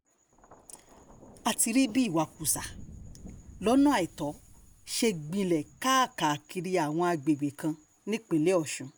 a ti rí bí ìwakùsà lọ́nà àìtọ́ ṣe ń gbilẹ̀ káàkiri àwọn àgbègbè kan nípínlẹ̀ ọ̀sùn